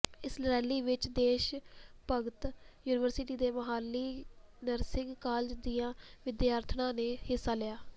ਇਸ ਰੈਲੀ ਵਿਚ ਦੇਸ਼ ਭਗਤ ਯੂਨੀਵਰਸਿਟੀ ਤੇ ਮੁਹਾਲੀ ਨਰਸਿੰਗ ਕਾਲਜ ਦੀਆਂ ਵਿਦਿਆਰਥਣਾਂ ਨੇ ਹਿੱਸਾ ਲਿਆ